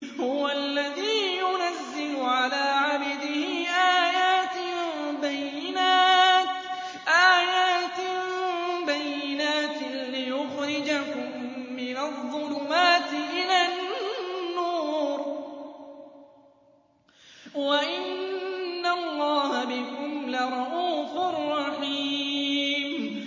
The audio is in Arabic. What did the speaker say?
هُوَ الَّذِي يُنَزِّلُ عَلَىٰ عَبْدِهِ آيَاتٍ بَيِّنَاتٍ لِّيُخْرِجَكُم مِّنَ الظُّلُمَاتِ إِلَى النُّورِ ۚ وَإِنَّ اللَّهَ بِكُمْ لَرَءُوفٌ رَّحِيمٌ